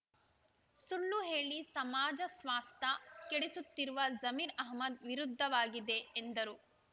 ಸುಳ್ಳು ಹೇಳಿ ಸಮಾಜ ಸ್ವಾಸ್ಥ ಕೆಡಿಸುತ್ತಿರುವ ಜಮೀರ್ ಅಹ್ಮದ್ ವಿರುದ್ಧವಾಗಿದೆ ಎಂದರು